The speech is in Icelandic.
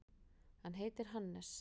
Hann heitir Hannes.